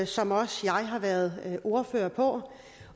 som også jeg har været ordfører på